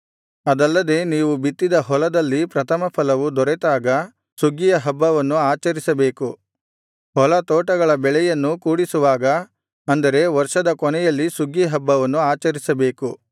ಅದಲ್ಲದೆ ನೀವು ಬಿತ್ತಿದ ಹೊಲದಲ್ಲಿ ಪ್ರಥಮಫಲವು ದೊರೆತಾಗ ಸುಗ್ಗಿಯ ಹಬ್ಬವನ್ನು ಆಚರಿಸಬೇಕು ಹೊಲ ತೋಟಗಳ ಬೆಳೆಯನ್ನೂ ಕೂಡಿಸುವಾಗ ಅಂದರೆ ವರ್ಷದ ಕೊನೆಯಲ್ಲಿ ಸುಗ್ಗಿ ಹಬ್ಬವನ್ನು ಆಚರಿಸಬೇಕು